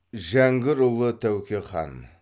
жәңгірұлы тәуке хан